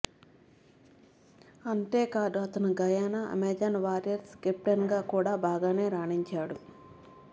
అంతేకాదు అతను Guyana Amazon Warriors కెప్టెన్గా కూడా బాగానే రాణించాడు